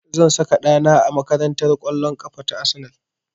Zan saka ɗa na a makarantar ƙwallon ƙafa ta Arsenal